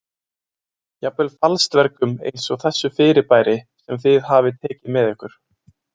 Jafnvel falsdvergum eins og þessu fyrirbæri sem þið hafið tekið með ykkur.